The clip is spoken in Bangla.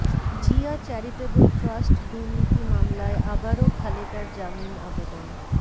জিয়া চ্যারিটেবল ট্রাস্ট দুর্নীতি মামলায় আবারও খালেদার জামিন আবেদন